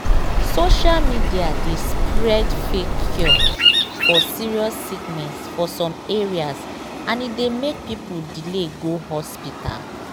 social media dey spread fake cure for serious sickness for some areas and e dey make people delay go hospital